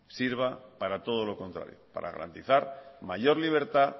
sirva para todo lo contrario para garantizar mayor libertad